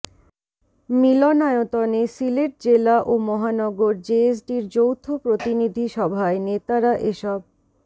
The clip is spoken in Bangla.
মিলনায়তনে সিলেট জেলা ও মহানগর জেএসডির যৌথ প্রতিনিধি সভায় নেতারা এসব